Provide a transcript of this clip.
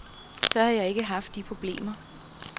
Så havde jeg ikke haft de problemer.